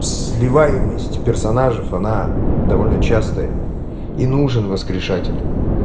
сливаемость персонажев она довольно частая и нужен воскрешать это